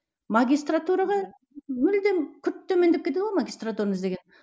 магистратураға мүлдем күрт төмендеп кетеді ғой магистратураны іздеген